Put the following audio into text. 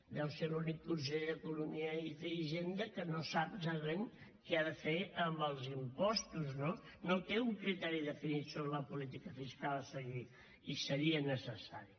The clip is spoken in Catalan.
deu ser l’únic conseller d’economia i hisenda que no sap exactament què ha de fer amb els impostos no no té un criteri definit sobre la política fiscal a seguir i seria necessari